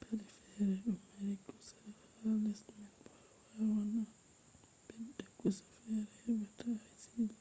paɗe fere ɗo mari kusa ha les man bo a wawan a ɓedda kusa fere heɓa ta a silɓa.